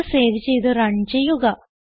code save ചെയ്ത് run ചെയ്യുക